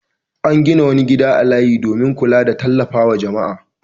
An gina wani gida a layin domin kula da tallafa wa jama'a.